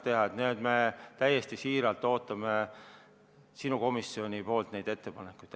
Nii et me täiesti siiralt ootame sinu komisjonilt neid ettepanekuid.